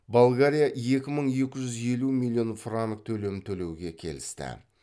болгария екі мың екі жүз елу миллион франк төлем төлеуге келісті